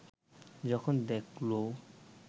যখন দেখল